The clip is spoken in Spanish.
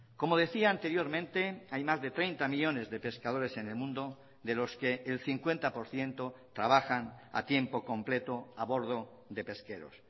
como decía anteriormente hay más de treinta millónes de pescadores en el mundo de los que el cincuenta por ciento trabajan a tiempo completo a bordo de pesqueros